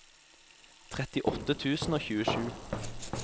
trettiåtte tusen og tjuesju